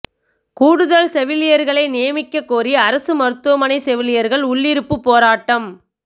கூடுதல் செவிலியா்களை நியமிக்கக் கோரி அரசு மருத்துவமனை செவிலியா்கள் உள்ளிருப்புப் போராட்டம்